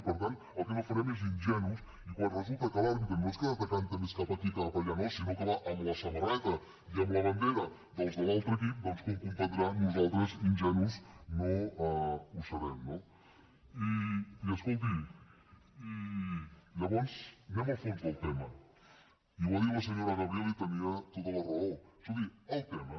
i per tant el que no farem és d’ingenus i quan resulta que l’àrbitre no és que es decanti més cap aquí que cap allà no sinó que va amb la samarreta i amb la bandera dels de l’altre equip doncs com comprendrà nosaltres ingenus no ho serem no i escolti llavors anem al fons del tema i ho ha dit la senyora gabriel i tenia tota la raó escolti el tema